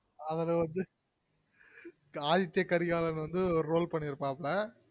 அதுலவந்து ஆதித்திய கரிகாலன் வந்து ஒரு role பன்னிருப்பல